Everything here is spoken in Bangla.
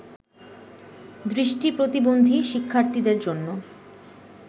দৃষ্টি প্রতিবন্ধী শিক্ষার্থীদের জন্য